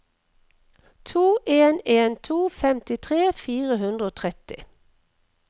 to en en to femtitre fire hundre og tretti